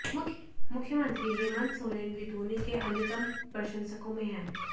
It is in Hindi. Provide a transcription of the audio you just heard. मुख्यमंत्री हेमंत सोरेन भी धोनी के अन्यतम प्रशंसकों में हैं